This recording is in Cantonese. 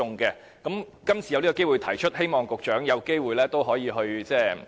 今次有機會提出這方面，希望局長有機會也檢討一下。